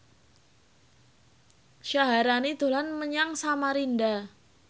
Syaharani dolan menyang Samarinda